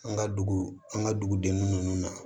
An ka dugu an ka dugudenw na